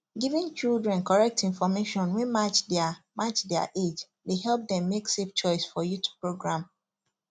giving children correct information wey match their match their age dey help dem make safe choice for youth program